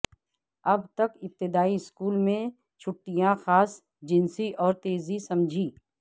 ابھی تک ابتدائی اسکول میں چھٹیاں خاص جنسی اور تیزی سمجھی